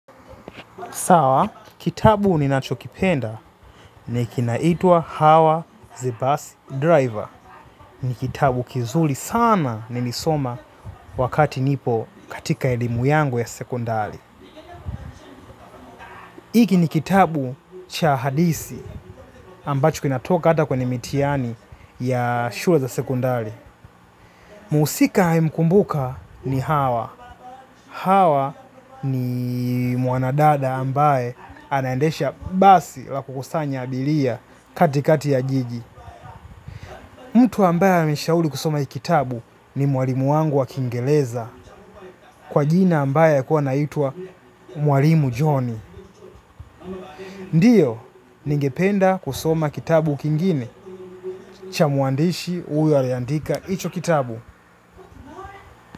Sawa, kitabu ninacho kipenda ni kile kinaitwa Hawa the Bus Driver. Ni kitabu kizuri sana nilisoma wakati nipo katika elimu yangu ya sekondari. Hiki ni kitabu cha hadithi ambacho kinatoka ata kwenye mitihani ya shule za sekondari. Mhusika naye mkumbuka ni Hawa. Hawa ni mwanadada ambaye anandesha basi la kukusanya abiria katikati ya jiji. Mtu ambaye ameshauri kusoma hiki kitabu ni mwalimu wangu wa kiingereza kwa jina ambaye alikuwa anaitwa mwalimu joni. Ndiyo, ningependa kusoma kitabu kingine. Cha mwandishi huyu aliyeandika hicho kitabu.